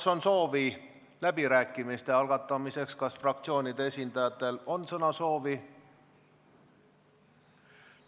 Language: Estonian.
Kas on soovi läbirääkimiste algatamiseks, kas fraktsioonide esindajatel on sõnasoovi?